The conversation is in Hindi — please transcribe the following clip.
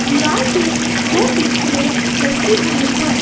दीवाल पे दो पिक्चरें लटकी हुई हैं।